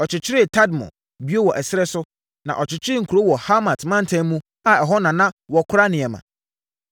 Ɔkyekyeree Tadmor bio wɔ ɛserɛ so, na ɔkyekyeree nkuro wɔ Hamat mantam mu a ɛhɔ na na wɔkora nneɛma.